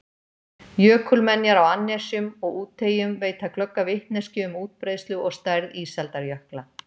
Jökulmenjar á annesjum og úteyjum veita glögga vitneskju um útbreiðslu og stærð ísaldarjökla.